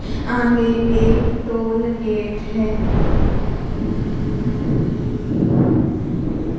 आगे एक toll gate है।